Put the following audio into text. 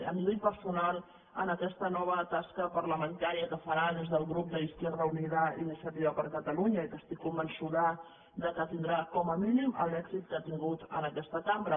a nivell perso·nal en aquesta nova tasca parlamentària que farà des del grup d’izquierda unida i iniciativa per catalunya i que estic convençuda que tindrà com a mínim l’èxit que ha tingut en aquesta cambra